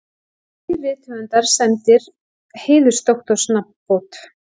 Þrír rithöfundar sæmdir heiðursdoktorsnafnbót